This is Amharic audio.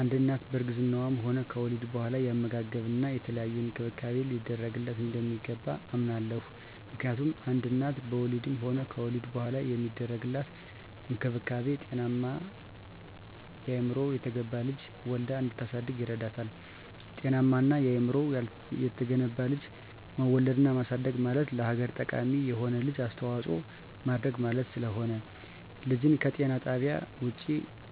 አንድ እናት በእርግዝናዋም ሆነ ከወሊድ በኋላ የአመጋገብና የተለያየ እንክብካቤ ሊደረግላት እንደሚገባ አምናለሁ። ምክንያቱም አንድ እናት በወሊድም ሆነ ከወሊድ በኋላ የሚደረግላት እንክብካቤ ጤናማና አእምሮው የተገነባ ልጅ ወልዳ እንድታሳድግ ይረዳታል። ጤናማና አእምሮው የተገነባ ልጅ መውለድና ማሳደግ ማለት ለሀገር ጠቃሚ የሆነ ልጅ አስተዋጽኦ ማድረግ ማለት ስለሆነ። ልጅን ከጤና ጣቢያ ውጭ